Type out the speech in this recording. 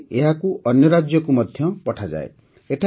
ତାପରେ ଏହାକୁ ଅନ୍ୟ ରାଜ୍ୟକୁ ମଧ୍ୟ ପଠାଯାଏ